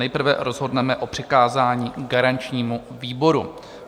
Nejprve rozhodneme o přikázání garančnímu výboru.